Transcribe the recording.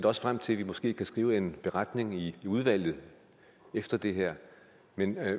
også frem til at vi måske kan skrive en beretning i udvalget efter det her men